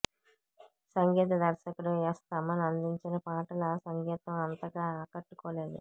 సంగీత దర్శకుడు యస్ తమన్ అందించిన పాటల సంగీతం అంతగా ఆకట్టుకోలేదు